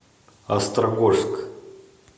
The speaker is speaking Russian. острогожск